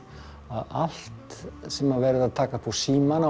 að allt sem verið er að taka upp á símann